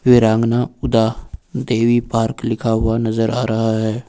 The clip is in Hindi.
वीरांगना ऊदा देवी पार्क लिखा हुआ नजर आ रहा है।